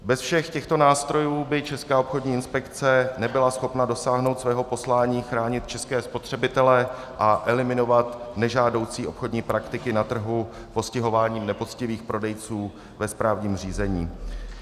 Bez všech těchto nástrojů by Česká obchodní inspekce nebyla schopna dosáhnout svého poslání chránit české spotřebitele a eliminovat nežádoucí obchodní praktiky na trhu postihováním nepoctivých prodejců ve správním řízení.